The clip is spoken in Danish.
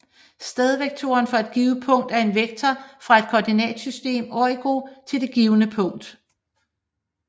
Stedvektoren for et givet punkt er en vektor fra et koordinatsystems origo til det givne punkt